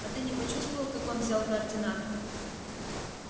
а ты не почувствовал как он взял координаты